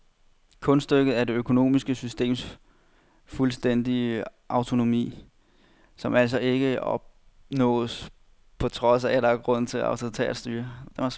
Kunststykket er det økonomiske systems fuldstændige autonomi, som altså ikke opnås på trods af, men på grund af et autoritært styre.